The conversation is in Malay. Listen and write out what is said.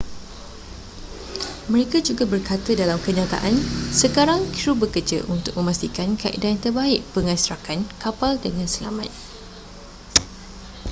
mereka juga berkata dalam kenyataan sekarang krew bekerja untuk memastikan kaedah yang terbaik pengekstrakan kapal dengan selamat